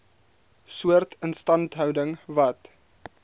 soort instandhouding wat